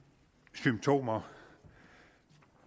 symptomer